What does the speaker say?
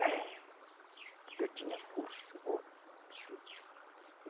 Pêi. Porque eu tinha pulso